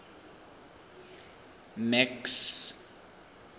max